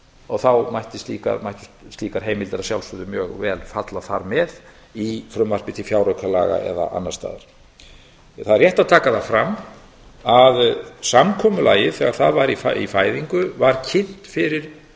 og þá mættu slíkar heimildir að sjálfsögðu mjög vel falla þar með í frumvarpi til fjáraukalaga eða annars staðar það er rétt að taka það fram að samkomulagið þegar það var í fæðingu var kynnt fyrir